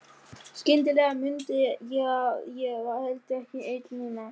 Skyndilega mundi ég að ég var heldur ekki ein núna.